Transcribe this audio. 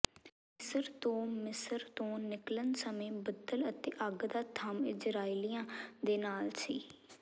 ਮਿਸਰ ਤੋਂ ਮਿਸਰ ਤੋਂ ਨਿਕਲਣ ਸਮੇਂ ਬੱਦਲ ਅਤੇ ਅੱਗ ਦਾ ਥੰਮ੍ਹ ਇਜ਼ਰਾਈਲੀਆਂ ਦੇ ਨਾਲ ਸੀ